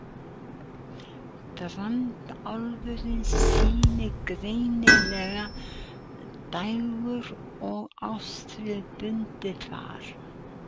Brandháfurinn sýnir greinilegt dægur- og árstíðabundið far.